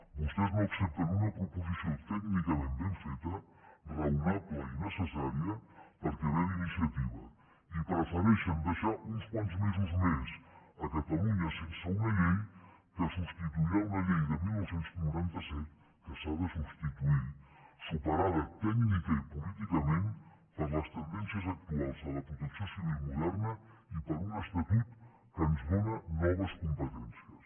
vostès no accepten una proposició tècnicament ben feta raonable i necessària perquè ve d’iniciativa i prefereixen deixar uns quants mesos més catalunya sense una llei que substituirà una llei de dinou noranta set que s’ha de substituir superada tècnicament i políticament per les tendències actuals de la protecció civil moderna i per un estatut que ens dóna noves competències